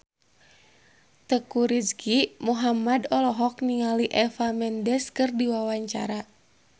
Teuku Rizky Muhammad olohok ningali Eva Mendes keur diwawancara